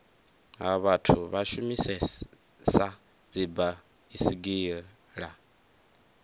ha vhathu vha shumisesa dzibaisigila